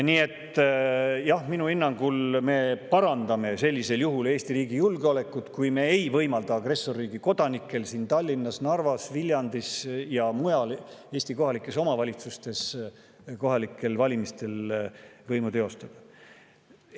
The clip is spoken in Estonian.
Nii et jah, minu hinnangul me parandame Eesti riigi julgeolekut, kui me ei võimalda agressorriigi kodanikel siin Tallinnas, Narvas, Viljandis ja Eesti kohalikes omavalitsustes kohalikel valimistel võimu teostada.